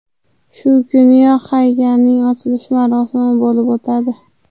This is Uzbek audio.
Shu kuniyoq haykalning ochilish marosimi bo‘lib o‘tadi.